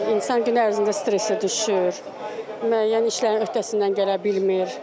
Yəni insan gün ərzində stressə düşür, müəyyən işlərin öhdəsindən gələ bilmir.